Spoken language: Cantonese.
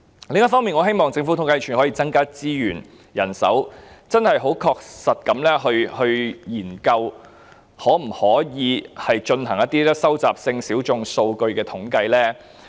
另一方面，我希望統計處可以增加資源和人手，確實地研究可否進行收集性小眾數據的統計。